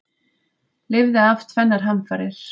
Lifði af tvennar hamfarir